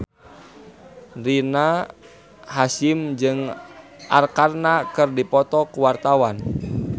Rina Hasyim jeung Arkarna keur dipoto ku wartawan